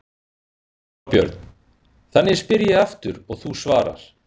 Þorbjörn: Þannig ég spyr aftur og þú svarar?